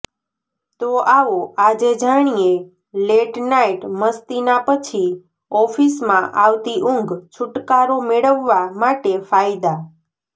તો આવો આજે જાણીએ લેટ નાઈટ મસ્તીના પછી ઓફીસમાં આવતી ઊંઘ છુટકારો મેળવા માટે ફાયદા